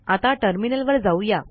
आता टर्मिनलवर जाऊया